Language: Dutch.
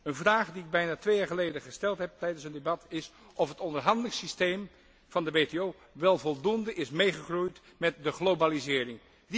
Een vraag die ik bijna twee jaar geleden gesteld heb tijdens het debat, is of het onderhandelingssysteem van de WTO wel voldoende is meegegroeid met de globalisering.